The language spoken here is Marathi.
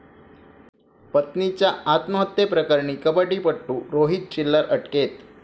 पत्नीच्या आत्महत्येप्रकरणी कबट्टीपटू रोहित चिल्लर अटकेत